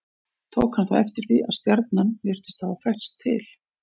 Tók hann þá eftir því að stjarnan virtist hafa færst til.